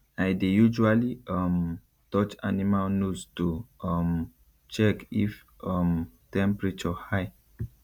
i dey usually um touch animal nose to um check if um temperature high